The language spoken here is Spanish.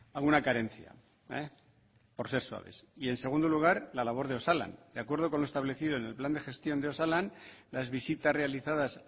alguna carencia por ser suaves y en segundo lugar la labor de osalan de acuerdo con lo establecido en el plan de gestión de osalan las visitas realizadas